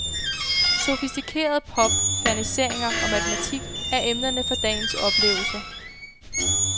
Sofistikeret pop, ferniseringer og matematik er emnerne for dagens oplevelser.